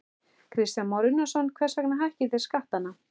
Kristján Már Unnarsson: Hvers vegna hækkið þið skattana?